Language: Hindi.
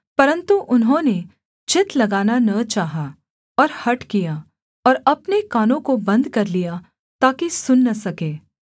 परन्तु उन्होंने चित्त लगाना न चाहा और हठ किया और अपने कानों को बन्द कर लिया ताकि सुन न सके